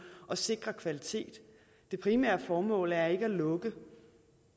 at sikre kvalitet det primære formål er ikke at lukke